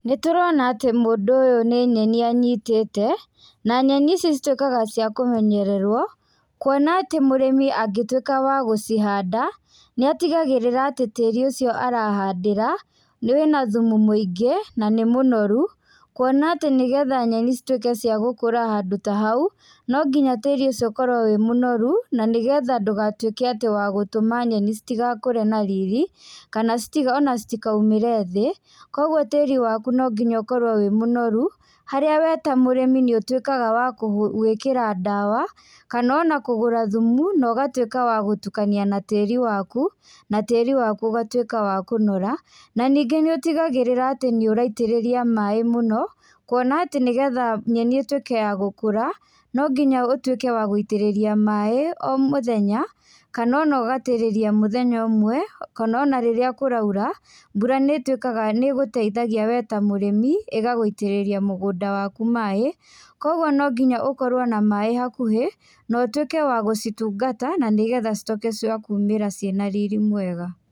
Nĩturona atĩ mũndũ ũyũ nĩ nyeni anyitĩte, na nyeni ici cituĩkaga cia kũmenyererwo, kuona atĩ mũrĩmi angĩtuĩka wa gũcihanda, nĩatigagĩrĩra atĩ tĩri ũcio arahandĩra, nĩ wĩna thumu mũingĩ, na nĩ mũnoru. Kuona atĩ nĩgetha nyeni cituĩke cia gũkũra handũ ta hau, no nginya tĩri ũcio ũkorwo wĩ mũnoru, na nĩgetha ndũgatuĩke atĩ wa gũtũma nyeni citigakũre na riri, kana citi ona citikaumĩre thi, koguo tĩri waku nonginya ũkorwo wĩ mũnoru. Harĩa we ta mũrĩmi nĩũtuĩkaga wa gũĩkĩra ndawa, kana ona kũgũra thumu, na ũgatuĩka wa gũtukania na tĩri waku, na tĩri waku ũgatuĩka wa kũnora. Na ningĩ nĩũtigagĩrĩra atĩ nĩũraitĩrĩria maĩ mũno, kuona atĩ nĩgetha nyeni ĩtuĩke ya gũkũra, no nginya ũtuĩke wa gũitĩrĩria maĩ, o mũthenya, kana ona ũgatĩrĩria mũthenya ũmwe kana ona rĩrĩa kũraura, mbura nĩtuĩkaga nĩgũteithagia wee ta mũrĩmi, ĩgaguitĩrĩria mũgũnda waku maĩ, koguo nonginya ũkorwo na maĩ hakuhĩ, no ũtuĩke wa gũcitungata, na nĩgetha cituĩke ciakumĩra ciĩna riri mwega.